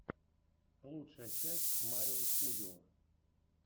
лучшая часть марио студио